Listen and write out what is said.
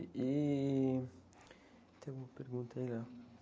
E... Tem uma pergunta aí?